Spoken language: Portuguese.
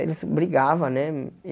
Eles brigava, né? E